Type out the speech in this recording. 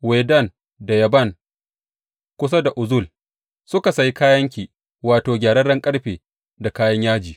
Wedan da Yaban kusa da Uzal, suka sayi kayanki; wato gyararren ƙarfe da kayan yaji.